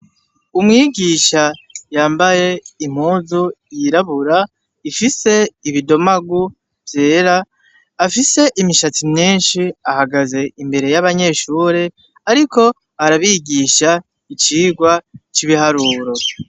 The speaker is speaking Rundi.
Umwigisha yambaye impuzu yirabura ifise ibidomagu vyera afise imishatsi myishi ahagaze imbere y'abanyeshuri ariko arabigisha icirwa c'ibiharuro.